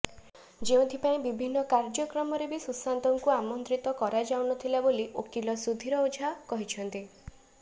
ଯେଉଁଥିପାଇଁ ବିଭିନ୍ନ କାର୍ଯ୍ୟକ୍ରମରେ ବି ସୁଶାନ୍ତଙ୍କୁ ଆମନ୍ତ୍ରିତ କରାଯାଉନଥିଲା ବୋଲି ଓକିଲ ସୁଧୀର ଓଝା କହିଛନ୍ତି